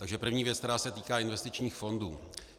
Takže první věc, která se týká investičních fondů.